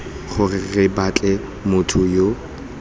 gore re batle motho yo